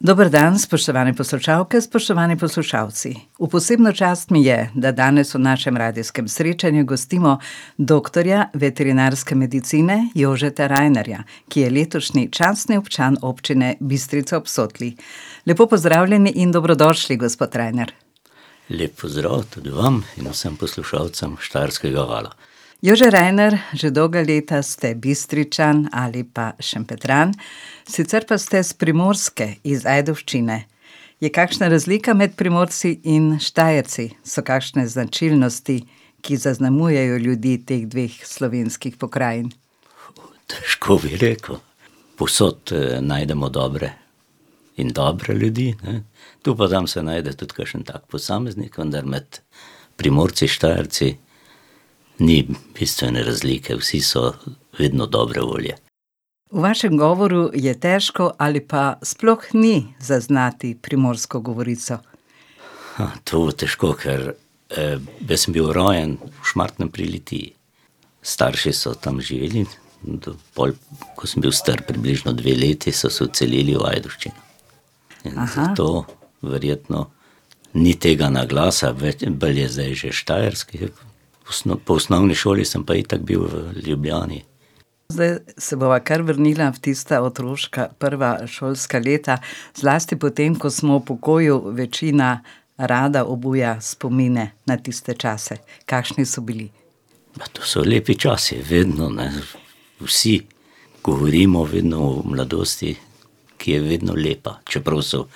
Dober dan, spoštovane poslušalke, spoštovani poslušalci. V posebno čast mi je, da danes v našem radijskem srečanju gostimo doktorja veterinarske medicine Jožeta Rajnerja, ki je letošnji častni občan Občine Bistrica ob Sotli. Lepo pozdravljeni in dobrodošli, gospod Rajner. Lep pozdrav tudi vam in vsm poslušalcem Štajerskega vala. Jože Rajner, že dolga leta ste Bistričan ali pa Šempetran, sicer pa ste s Primorske, iz Ajdovščine. Je kakšna razlika med Primorci in Štajerci? So kakšne značilnosti, ki zaznamujejo ljudi teh dveh slovenskih pokrajin? Težko bi rekel. Povsod, najdemo dobre in dobre ljudi, ne. Tu pa tam se najde tudi kakšen tak posameznik, vendar med Primorci, Štajerci ni bistvene razlike. Vsi so vedno dobre volje. V vašem govoru je težko ali pa sploh ni zaznati primorsko govorico. to težko, ker, jaz sem bil rojen v Šmartnem pri Litiji. Starši so tam živeli in tudi pol, ko sem bil star približno dve leti, so se odselili v Ajdovščino. In zato verjetno ni tega naglasa več in bolj je zdaj že štajerski. V po osnovni šoli sem pa itak bil v Ljubljani. Zdaj se bova kar vrnila v tista otroška, prva šolska leta. Zlasti potem, ko smo v pokoju, večina rada obuja spomine na tiste čase. Kakšni so bili? Ja, to so lepi časi vedno, ne. Vsi govorimo vedno o mladosti, ki je vedno lepa. Čeprav so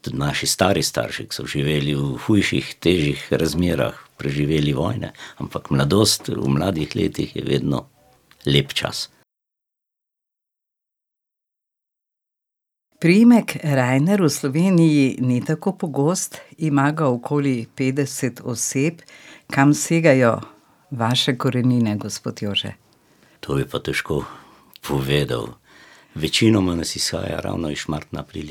tudi naši stari starši, ki so živeli v hujših, težjih razmerah, preživeli vojne, ampak mladost, v mladih letih je vedno lep čas. Priimek Rajner v Sloveniji ni tako pogost. Ima ga okoli petdeset oseb. Kam segajo vaše korenine, gospod Jože? To bi pa težko povedal. Večinoma nas izhaja ravno iz Šmartna pri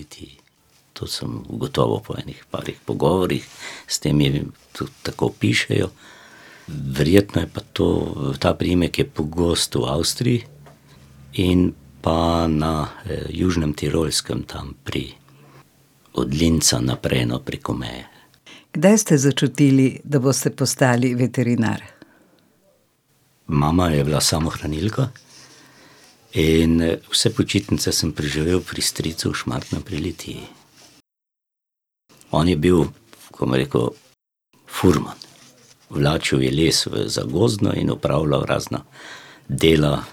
Litiji. To sem ugotovil po ene parih pogovorih s temi. Tudi tako pišejo. Verjetno je pa to, ta priimek je pogost v Avstriji in pa na Južnem Tirolskem, tam pri, od Linza naprej, no, preko meje. Kdaj ste začutili, da boste postali veterinar? Mama je bila samohranilka in, vse počitnice sem preživel pri stricu v Šmartnem pri Litiji. On je bil, rekel, furman. Vlačil je les za gozdno in opravljal razna dela: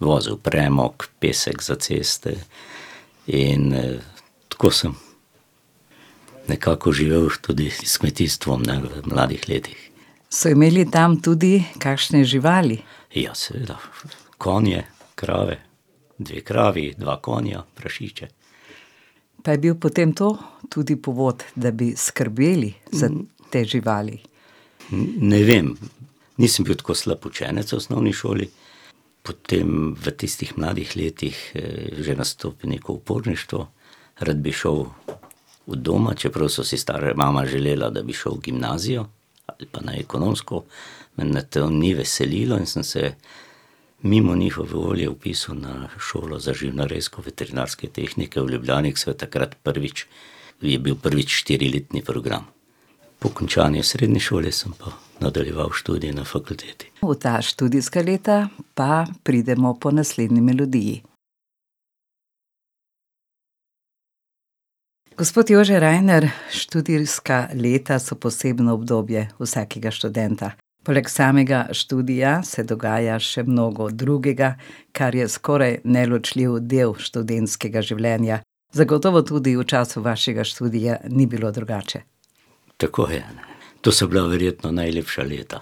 vozil premog, pesek za ceste. In, tako sem nekako živel tudi s kmetijstvom, ne, v mladih letih. So imeli tam tudi kakšne živali? Ja, seveda. Konje, krave. Dve kravi, dva konja, prašiče. Pa je bil potem to tudi povod, da bi skrbeli za te živali? ne vem. Nisem bil tako slab učenec v osnovni šoli, potem v tistih mladih letih, že nastopi neko uporništvo. Rad bi šel od doma, čeprav so si stara mama želeli, da bi šel v gimnazijo ali pa na ekonomsko. Vendar me to ni veselilo in sem se mimo njihove volje vpisal na šolo za živinorejsko-veterinarske tehnike v Ljubljani, ki so jo takrat prvič, je bil prvič štiriletni program. Po končani srednji šoli sem pa nadaljeval študij na fakulteti. V ta študijska leta pa pridemo po naslednji melodiji. Gospod Jože Rajner, študijska leta so posebno obdobje vsakega študenta. Poleg samega študija se dogaja še mnogo drugega, kar je skoraj neločljiv del študentskega življenja. Zagotovo tudi v času vašega študija ni bilo drugače. Tako je. To so bila verjetno najlepša leta.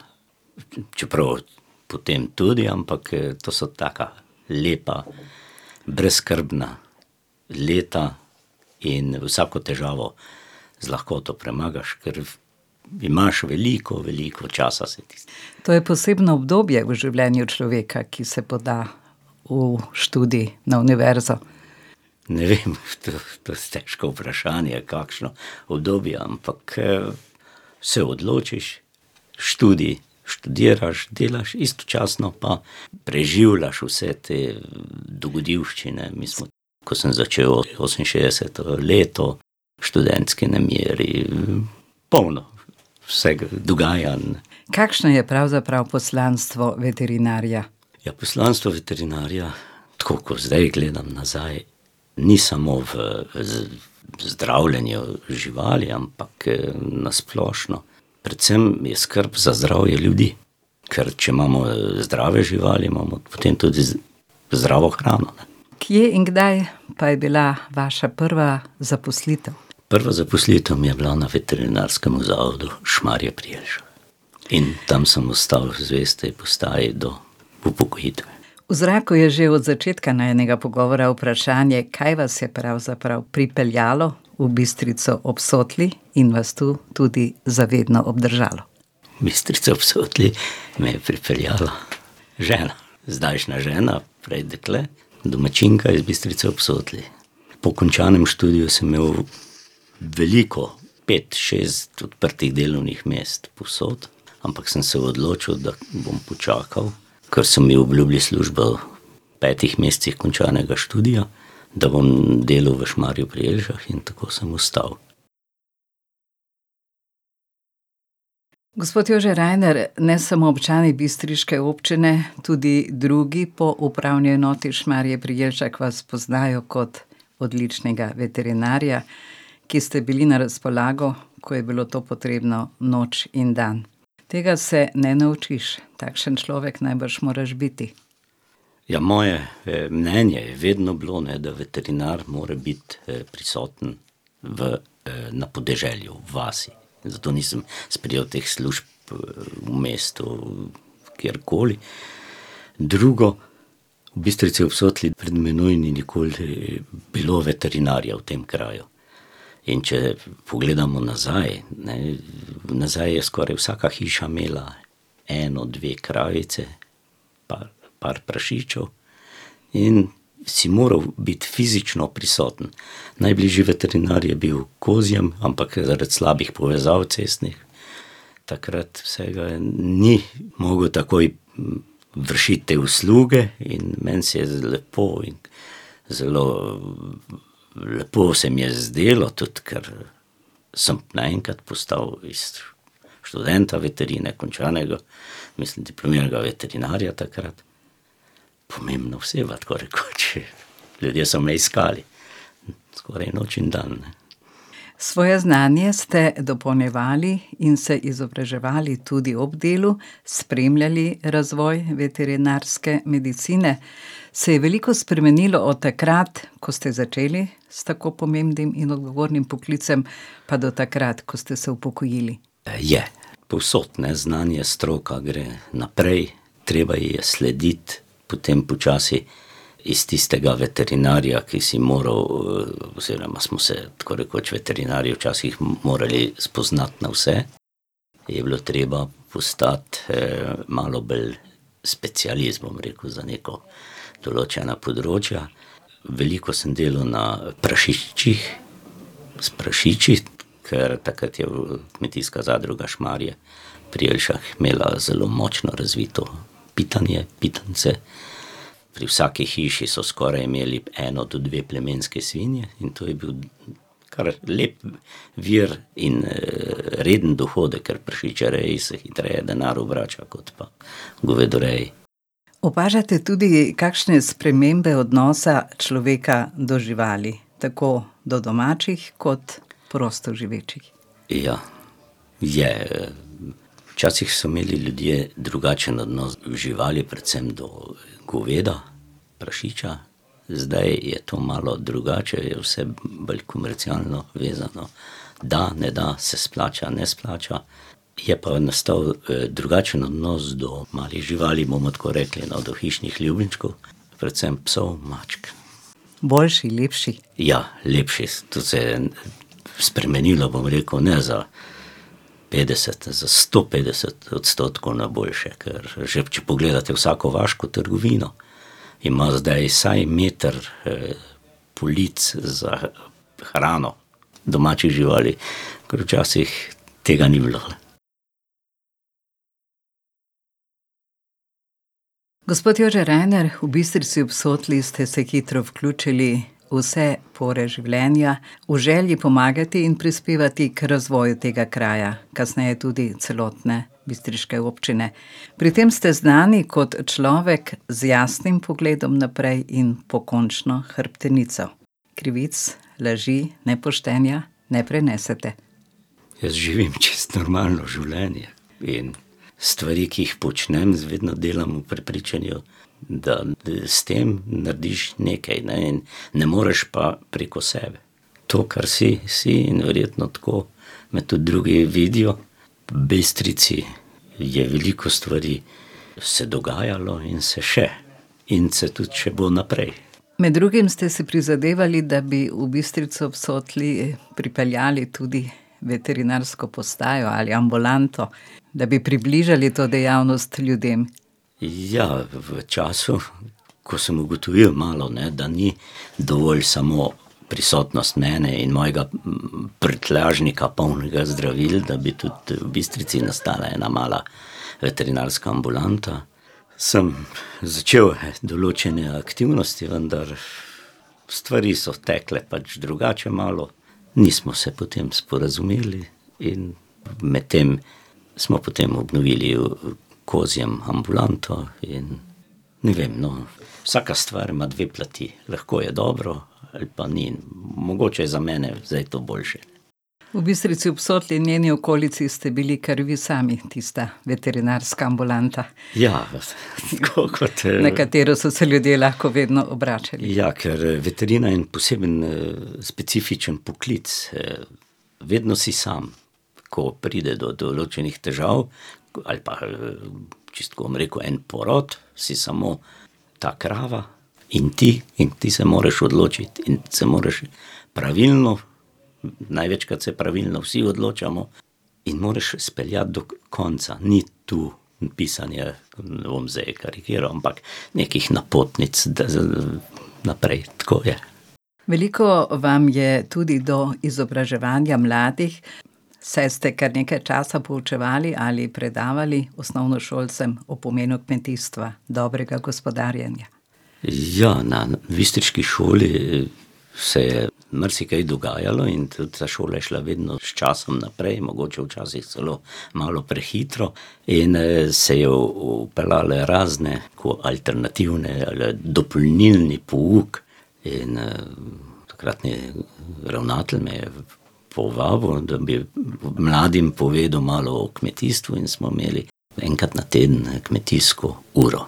Čeprav potem tudi, ampak, to so taka lepa, brezskrbna leta in vsako težavo z lahkoto premagaš, ker imaš veliko, veliko časa, se ti zdi. To je posebno obdobje v življenju človeka, ki se poda v študij na univerzo. Ne vem, to je težko vprašanje, kakšno obdobje, ampak, se odločiš, študij študiraš, delaš, istočasno pa preživljaš vse te dogodivščine, bili so, ko sem začel oseminšestdeseto leto, študentski nemiri, Polno vseh dogajanj. Kakšno je pravzaprav poslanstvo veterinarja? Ja, poslanstvo veterinarja, tako, kot zdaj gledam nazaj, ni samo v zdravljenju živali, ampak, na splošno. Predvsem je skrb za zdravje ljudi. Ker če imamo zdrave živali, imamo potem tudi zdravo hrano. Kje in kdaj pa je bila vaša prva zaposlitev? Prva zaposlitev mi je bila na veterinarskem zavodu Šmarje pri Jelšah. In tam sem ostal zvest tej postaji do upokojitve. V zraku je že od začetka najinega pogovora vprašanje, kaj vas je pravzaprav pripeljalo v Bistrico ob Sotli in vas tu tudi za vedno obdržalo. V Bistrico ob Sotli me je pripeljala žena. Zdajšnja žena, prej dekle, domačinka iz Bistrice ob Sotli. Po končanem študiju sem imel veliko, pet, šest odprtih delovnih mest povsod, ampak sem se odločil, da bom počakal, ker so mi obljubili službo v petih mesecih končanega študija, da bom delal v Šmarju pri Jelšah in tako sem ostal. Gospod Jože Rajner, ne samo občani bistriške občine, tudi drugi po upravni enoti Šmarje pri Jelšah vas poznajo kot odličnega veterinarja, ki ste bili na razpolago, ko je bilo to potrebno, noč in dan. Tega se ne naučiš. Takšen človek najbrž moraš biti. Ja, moje, mnenje je vedno bilo, ne, da veterinar more biti, prisoten v, na podeželju, v vasi. Zato nisem sprejel teh služb, v mestu, kjerkoli. Drugo, v Bistrici ob Sotli pred mano ni nikoli bilo veterinarja v tem kraju. In če pogledamo nazaj, ne, nazaj je skoraj vsaka hiša imela eno, dve kravice pa par prašičev. In si moral biti fizično prisoten. Najbližji veterinar je bil v Kozjem, ampak zaradi slabih povezav cestnih takrat vsega ni mogel takoj, vršiti te usluge in meni se je zdelo lepo in zelo, lepo se mi je zdelo, tudi kar semo naenkrat postal iz študenta veterine, končanega, mislim, diplomiranega veterinarja takrat pomembna oseba, tako rekoč. Ljudje so me iskali. Skoraj noč in dan, ne. Svoje znanje ste dopolnjevali in se izobraževali tudi ob delu, spremljali razvoj veterinarske medicine. Se je veliko spremenilo od takrat, ko ste začeli s tako pomembnim in odgovornim poklicem, pa do takrat, ko ste se upokojili? je. Povsod, ne. Znanje, stroka gre naprej, treba ji je slediti. Potem počasi iz tistega veterinarja, ki si moral, oziroma smo se tako rekoč veterinarji včasih morali spoznati na vse, je bilo treba postati, malo bolj specialist, bom rekel, za neka določena področja. Veliko sem delal na prašičih, s prašiči. Kar takrat je Kmetijska zadruga Šmarje pri Jelšah imela zelo močno razvito pitanje, pitance. Pri vsaki hiši so skoraj imeli eno do dve plemenski svinji in to je bil kar lep vir in, reden dohodek, ker v prašičereji se hitreje denar obrača kot pa v govedoreji. Opažate tudi kakšne spremembe odnosa človeka do živali? Tako do domačih kot prostoživečih. Ja. Je, Včasih so imeli ljudje drugačen odnos do živali, predvsem do goveda, prašiča. Zdaj je to malo drugače, je vse bolj komercialno vezano. Da, ne da, se splača, ne splača. Je pa nastal, drugačen odnos do malih živali, bomo tako rekli, no, do hišnih ljubljenčkov, predvsem psov, mačk. Boljši, lepši? Ja, lepši. To se je spremenilo, bom rekel, ne za petdeset, za sto petdeset odstotkov na boljše. Ker že če pogledate vsako vaško trgovino, ima zdaj vsaj meter, polic za hrano domačih živali. Ker včasih tega ni bilo. Gospod Jože Rajner, v Bistrici ob Sotli ste se hitro vključili v vse pore življenja v želji pomagati in prispevati k razvoju tega kraja, kasneje tudi celotne bistriške občine. Pri tem ste znani kot človek z jasnim pogledom naprej in pokončno hrbtenico. Krivic, laži, nepoštenja ne prenesete. Jaz živim čisto normalno življenje. In stvari, ki jih počnem, vedno delam v prepričanju, da s tem narediš nekaj, ne. In ne moreš pa preko sebe. To, kar si, si in verjetno tako me tudi drugi vidijo. V Bistrici je veliko stvari se dogajalo in se še. In se tudi še bo naprej. Med drugim ste si prizadevali, da bi v Bistrico ob Sotli pripeljali tudi veterinarsko postajo ali ambulanto, da bi približali to dejavnost ljudem. Ja, v času, ko sem ugotovil malo, ne, da ni dovolj samo prisotnost mene in mojega, prtljažnika, polnega zdravil, da bi tudi v Bistrici nastala ena mala veterinarska ambulanta, sem začel določene aktivnosti, vendar stvari so tekle pač drugače malo. Nismo se potem sporazumeli in medtem smo potem obnovili v Kozjem ambulanto in ne vem, no. Vsaka stvar ima dve plati. Lahko je dobro ali pa ni. Mogoče je za mene zdaj to boljše. V Bistrici ob Sotli in njeni okolici ste bili kar vi sami tista veterinarska ambulanta. Ja. Tako kot... Na katero so se ljudje lahko vedno obračali. Ja, ker veterina je en poseben, specifičen poklic, Vedno si sam, ko pride do določenih težav ali pa, čisto tako bom rekel, en porod, si samo ta krava in ti, in ti se moraš odločiti. In se moraš pravilno, največkrat se pravilno vsi odločamo, in moraš speljati do konca. Ni tu pisanje, bom zdaj karikiral, ampak, nekih napotnic, naprej, tako je. Veliko vam je tudi do izobraževanja mladih, saj ste kar nekaj časa poučevali ali predavali osnovnošolcem o pomenu kmetijstva, dobrega gospodarjenja. Ja, na bistriški šoli, se je marsikaj dogajalo in tudi ta šola je šla vedno s časom naprej. Mogoče včasih celo malo prehitro. In, se je vpeljalo razne tako alternativne ali dopolnilni pouk. In, takratni ravnatelj me je povabil, da bi mladim povedal malo o kmetijstvu, in smo imeli enkrat na teden, ne, kmetijsko uro.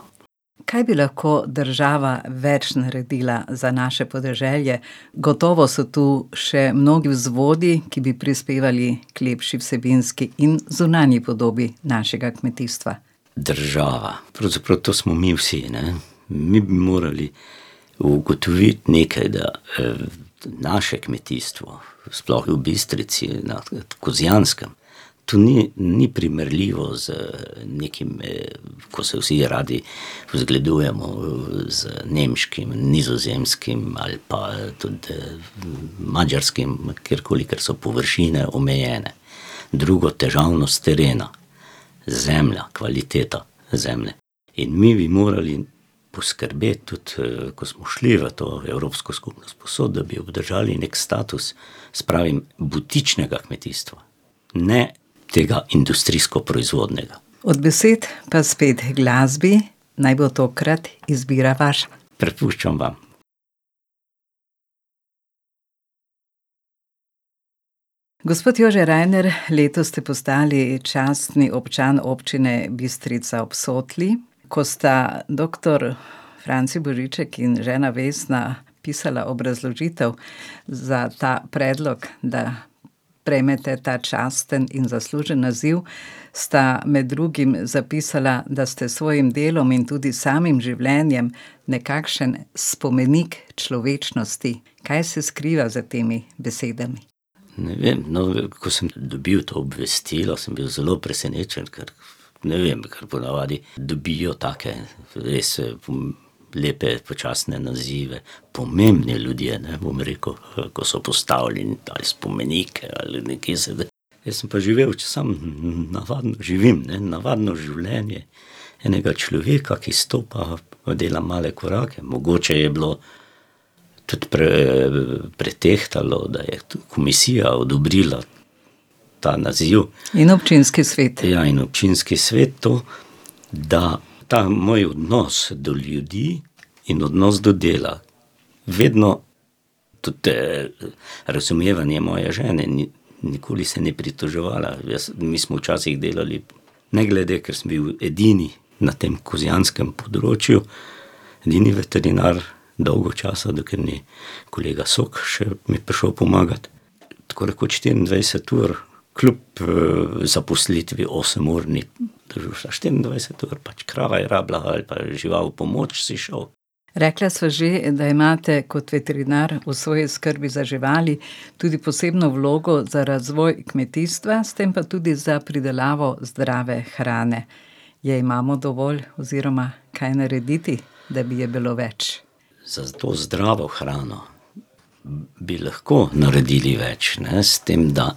Kaj bi lahko država več naredila za naše podeželje? Gotovo so tu še mnogi vzvodi, ki bi prispevali k lepši vsebinski in zunanji podobi našega kmetijstva. Država. Pravzaprav to smo mi vsi, ne. Mi bi morali ugotoviti nekaj, da, naše kmetijstvo, sploh v Bistrici in na Kozjanskem, to ni, ni primerljivo z, nekim, ko se vsi radi zgledujemo, z nemškim, nizozemskim ali pa tudi, madžarskim, kjerkoli, ker so površine omejene. Drugo, težavnost terena. Zemlja, kvaliteta zemlje. In mi bi morali poskrbeti, tudi, ko smo šli v to Evropsko skupnost, povsod da bi obdržali neki status, jaz pravim, butičnega kmetijstva. Ne tega industrijsko proizvodnega. Od besed pa spet h glasbi. Naj bo tokrat izbira vaša. Prepuščam vam. Gospod Jože Rajner, letos ste postali častni občan Občine Bistrica ob Sotli. Ko sta doktor Franci Božiček in žena Vesna pisala obrazložitev za ta predlog, da prejmete ta častni in zaslužni naziv, sta med drugim zapisala, da ste s svojim delom in tudi samim življenjem nekakšen spomenik človečnosti. Kaj se skriva za temi besedami? Ne vem, no. Ko sem dobil to obvestilo, sem bil zelo presenečen, ker ne vem, ker ponavadi dobijo take res, lepe, častne nazive pomembni ljudje, ne, bom rekel. Ko so postavili ta spomenik ali nekje jaz sem pa živel samo navaden živim, ne, navadno življenje enega človeka, ki stopa, dela male korake. Mogoče je bilo tudi pri, pretehtalo, da je to komisija odobrila ta naziv. In občinski svet. Ja, in občinski svet, to. Da, ta moj odnos do ljudi in odnos do dela. Vedno tudi, razumevanje moje žene. nikoli se ni pritoževala. Jaz, mi smo včasih delali ne glede, ker sem bil edini na tem Kozjanskem področju, edini veterinar dolgo časa, dokler ni kolega Sok še mi prišel pomagat. Tako rekoč štiriindvajset ur kljub, zaposlitvi osemurni. To je bilo za štiriindvajset ur. Pač krava je rabila, ali pa žival, pomoč, si šel. Rekla sva že, da imate kot veterinar v svoji skrbi za živali tudi posebno vlogo za razvoj kmetijstva, s tem pa tudi za pridelavo zdrave hrane. Je imamo dovolj oziroma kaj narediti, da bi je bilo več? Za to zdravo hrano bi lahko naredili več, ne. S tem, da,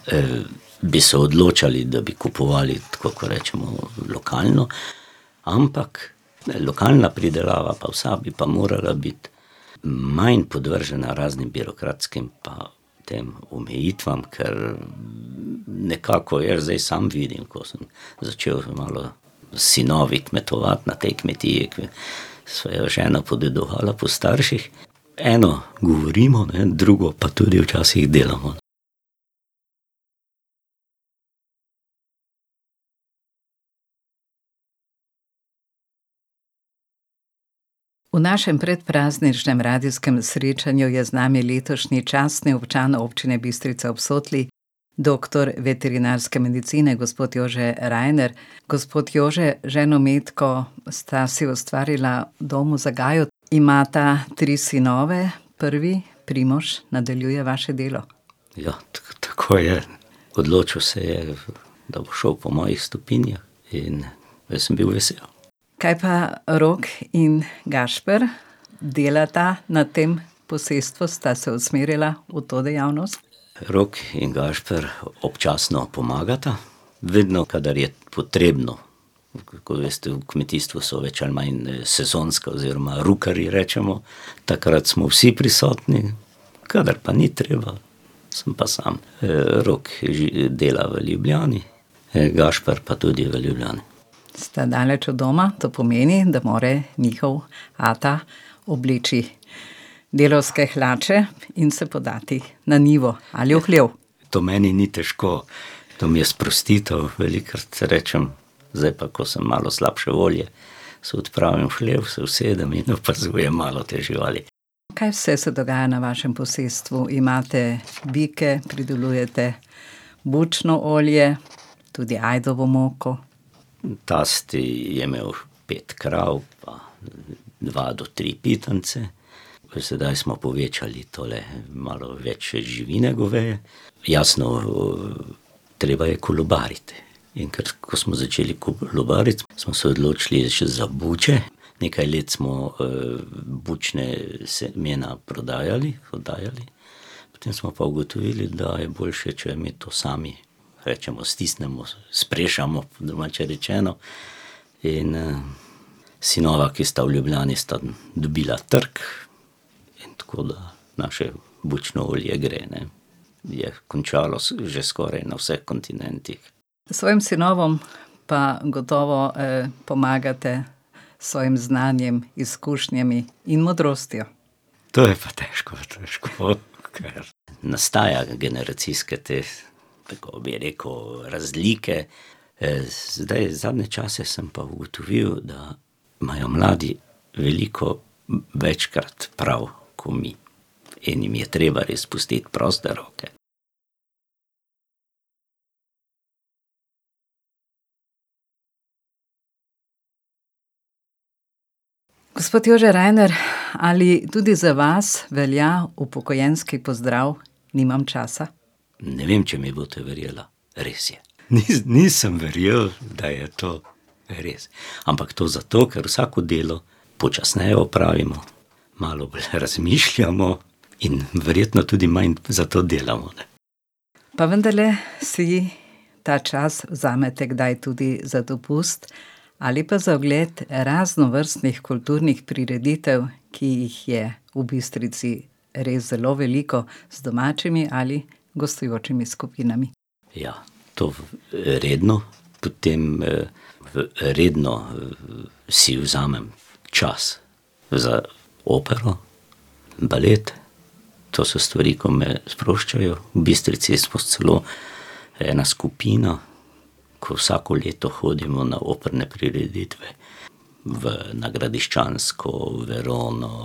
bi se odločali, da bi kupovali tako, ko rečemo, lokalno. Ampak, ne, lokalna pridelava pa vsa bi pa morala biti manj podvržena raznim birokratskim pa tem omejitvam. Kar nekako jaz zdaj sam vidim, ko sem začel malo s sinovi kmetovati na tej kmetiji, ko sva jo z ženo podedovala po starših, eno govorimo, ne, drugo pa tudi včasih delamo. V našem predprazničnem Radijskem srečanju je z nami letošnji častni občan Občine Bistrica ob Sotli, doktor veterinarske medicine gospod Jože Rajner. Gospod Jože, z ženo Matko sta si ustvarila dom v Zagaju, imata tri sinove. Prvi, Primož, nadaljuje vaše delo. Ja, tako je. Odločil se je, da bo šel po mojih stopinjah, in jaz sem bil vesel. Kaj pa Rok in Gašper? Delata na tem posestvu, sta se usmerila v to dejavnost? Rok in Gašper občasno pomagata, vedno, kadar je potrebno. Tako veste, v kmetijstvu so več ali manj, sezonska oziroma rukerji, rečemo. Takrat smo vsi prisotni. Kadar pa ni treba, sem pa sam. Rok dela v Ljubljani, Gašper pa tudi v Ljubljani. Sta daleč od doma. To pomeni, da mora njihov ata obleči delavske hlače in se podati na njivo ali v hlev. To meni ni težko. To mi je sprostitev. Velikokrat rečem: "Zdaj pa, ko sem malo slabše volje, se odpravim v hlev, se usedem in opazujem malo te živali." Kaj vse se dogaja na vašem posestvu? Imate bike, pridelujete bučno olje, tudi ajdovo moko. Tast je imel pet krav pa dva do tri pitance. Sedaj smo povečali tole, malo več živine goveje. Jasno, treba je kolobariti. In ko smo začeli kolobariti, smo se odločili še za buče. Nekaj let smo, bučna semena prodajali, oddajali, potem smo pa ugotovili, da je boljše, če mi to sami, rečemo, stisnemo, sprešamo, po domače rečeno. In, sinova, ki sta v Ljubljani, sta dobila trg, tako da naše bučno olje gre, ne. Je končalo že skoraj na vseh kontinentih. Svojim sinovom pa gotovo, pomagate s svojim znanjem, izkušnjami in modrostjo. To je pa težko. Težko, ker nastaja generacijske te, kako bi rekel, razlike. zdaj zadnje čase sem pa ugotovil, da imajo mladi veliko večkrat prav ko mi. In jim je treba res pustiti proste roke. Gospod Jože Rajner, ali tudi za vas velja upokojenski pozdrav "nimam časa"? Ne vem, če mi boste verjela. Res je. nisem verjel, da je to res. Ampak to zato, ker vsako delo počasneje opravimo. Malo bolj razmišljamo in verjetno tudi manj zato delamo, ne. Pa vendarle si ta čas vzamete kdaj tudi za dopust ali pa za ogled raznovrstnih kulturnih prireditev, ki jih je v Bistrici res zelo veliko. Z domačimi ali gostujočimi skupinami. Ja. To, redno. Potem, redno si vzamem čas za opero, balet. To so stvari, ko me sproščajo. V Bistrici smo celo ena skupina, ke vsako leto hodimo na operne prireditve v, na Gradiščansko, v Verono,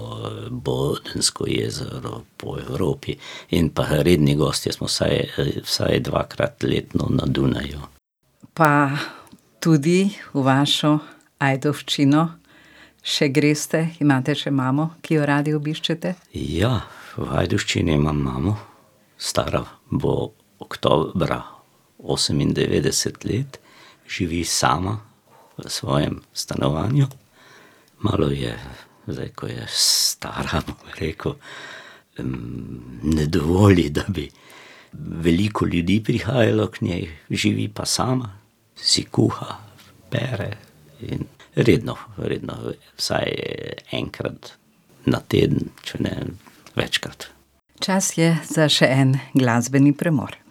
Bodensko jezero, po Evropi. In pa redni gostje smo vsaj, vsaj dvakrat letno na Dunaju. Pa tudi v vašo Ajdovščino še greste? Imate še mamo, ki jo radi obiščete? Ja. V Ajdovščini imam imamo. Stara bo oktobra osemindevetdeset let. Živi sama v svojem stanovanju. Malo je zdaj, ko je stara, bi rekel, ne dovoli, da bi veliko ljudi prihajalo k njej. Živi pa sama, si kuha, pere. In redno, redno, vsaj enkrat na teden, če ne večkrat. Čas je za še en glasbeni premor.